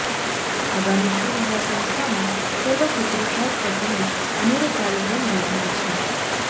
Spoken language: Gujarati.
આગામી શુવિહાર સંસ્થામાં સર્વ પિતૃશ્રાધ્ધ પ્રસંગે અનેરો કાર્યક્રમ યોજાનાર છ